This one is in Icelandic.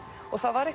og það var